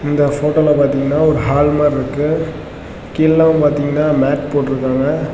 இந்த போட்டோல பார்த்தீங்கன்னா ஒரு ஹால் மாதிரி இருக்கு கீழ் எல்லாம் பாத்தீங்கன்னா மேட் போட்டுருக்காங்க.